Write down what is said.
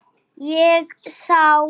Ég sá